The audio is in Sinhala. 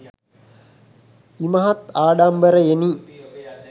ඉමහත් ආඩම්බරයෙනි.